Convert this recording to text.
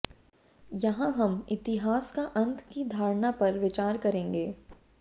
यहां हम इतिहास का अंत की धारणा पर विचार करेंगे